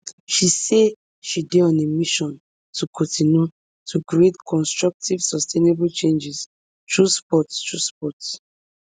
she say she dey on a mission to kontinu to create constructive sustainable changes thru sport thru sport